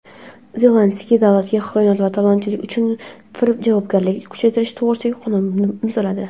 Zelenskiy davlatga xiyonat va talonchilik uchun javobgarlikni kuchaytirish to‘g‘risidagi qonunni imzoladi.